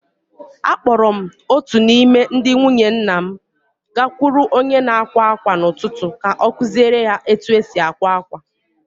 Akpọọrọ m otu n’ime ndị nwunye nna m gakwuru onye na-akwa ákwà n’ụtụtụ ka ọ kụziere ya otú e si akwa akwa.